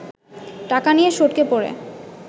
টাকা নিয়ে সটকে পড়ে